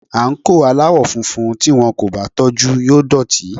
Àǹkóò aláwọ̀ funfun tí wón kò bá tọ́jú yóò dọ̀tí.